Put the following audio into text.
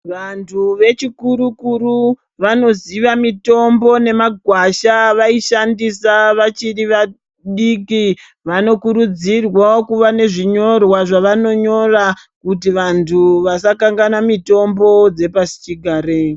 Vanthu vechikuru kuru vanoziva mitombo nemagwasha avaishandisa vachiri vadiki vanokurudzirwao kuva nezvinyorwa zvavanonyora kuti vanthu vasakanganwa mutombo dzepashi chigare.